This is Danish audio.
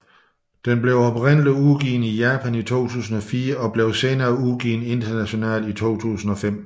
Den blev oprindeligt udgivet i Japan i 2004 og blev senere udgivet internationalt i 2005